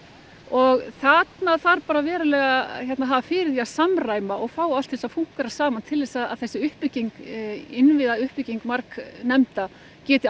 og þarna þarf bara verulega að hafa fyrir því að samræma og fá allt til að fúnkera saman til að þessi uppbygging innviðauppbygging margnefnda geti